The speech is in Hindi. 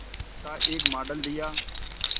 का एक मॉडल दिया